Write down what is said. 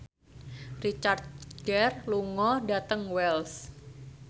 Richard Gere lunga dhateng Wells